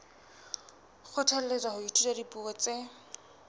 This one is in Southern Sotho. kgothalletswa ho ithuta dipuo tse